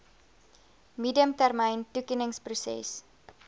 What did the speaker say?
medium termyn toekenningsproses